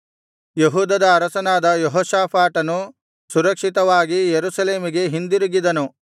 ಯೆಹೂದದ ಅರಸನಾದ ಯೆಹೋಷಾಫಾಟನು ಸುರಕ್ಷಿತವಾಗಿ ಯೆರೂಸಲೇಮಿಗೆ ಹಿಂದಿರುಗಿದನು